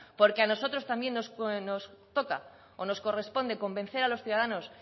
porque a nosotros también nos toca o nos corresponde convencer a los ciudadanos